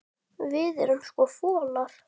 Við erum sko folar.